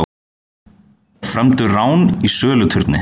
Frömdu rán í söluturni